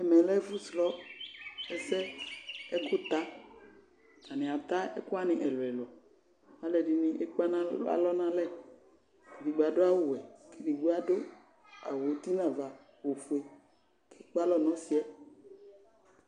Ɛmɛ lɛ ɛfʋ srɔ ɛsɛ, ɛkʋta Atanɩ ata ɛkʋ wanɩ ɛlʋ ɛlʋ Alʋ ɛdɩnɩ ekpe alɔ nʋ alɛ Edigbo adʋ awʋwɛ, edigbo adʋ awʋ uti nʋ ava ofue Ekpe alɔ nʋ ɔsɩ yɛ